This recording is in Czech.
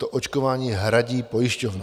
To očkování hradí pojišťovna.